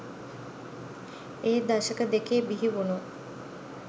ඒ දශක දෙකේ බිහිවුනු